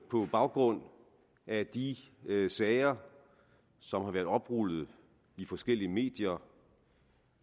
på baggrund af de sager som har været oprullet i forskellige medier